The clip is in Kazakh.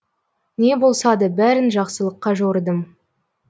не болса да бәрін жақсылыққа жорыдым